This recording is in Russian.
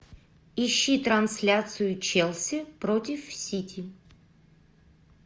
ищи трансляцию челси против сити